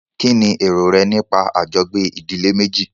Kínní èrò rẹ nípa àjọgbé ìdílé méjì?